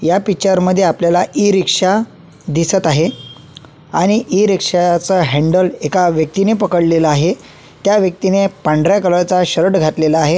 या पिक्चर मध्ये आपल्याला ई रिक्षा दिसत आहे आणि ई रिक्षाचा ह्यांडल एका व्यक्तीने पकडलेला आहे त्या व्यक्तीने पांढऱ्या कलर चा शर्ट घातलेला आहे.